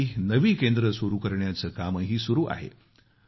आणखी नवी केंद्रे सुरु करण्याचे कामही सुरु आहे